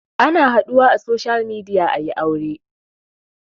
Ana haɗuwa a social media ayi aure